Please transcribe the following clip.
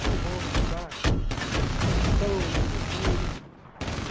Trombone, saques, pistão, surdina.